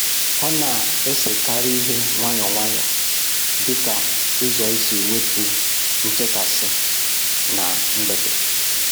Ọ na-esekarị ihe nwayọ nwayọ dịka ụzọ isi wepụ nchekasị na mgbede.